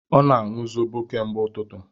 Ọ na-aṅụ zobo kemgbe ututu